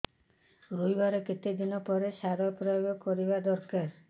ରୋଈବା ର କେତେ ଦିନ ପରେ ସାର ପ୍ରୋୟାଗ କରିବା ଦରକାର